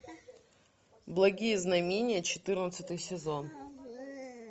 благие знамения четырнадцатый сезон